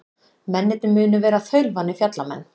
Mennirnir munu vera þaulvanir fjallamenn